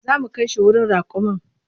Za mu kai shi wurin raƙumin.